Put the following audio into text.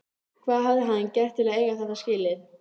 Hvað hafði hann gert til að eiga þetta skilið?